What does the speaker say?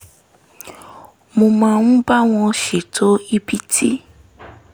mo máa ń bá wọn ṣètò ibi tí